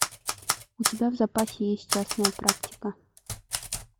у тебя в запасе есть частная практика